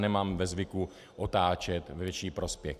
Nemám ve zvyku otáčet ve větší prospěch.